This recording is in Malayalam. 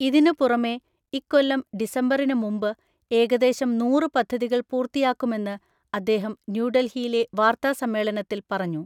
ഇതിന് പുറമേ ഇക്കൊല്ലം ഡിസംബറിന് മുമ്പ് ഏകദേശം നൂറ് പദ്ധതികൾ പൂർത്തിയാക്കുമെന്ന് അദ്ദേഹം ന്യൂഡൽഹിയിലെ വാർത്താ സമ്മേളനത്തിൽ പറഞ്ഞു.